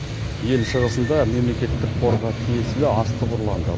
ел шығысында мемлекеттік қорға тиесілі астық ұрланды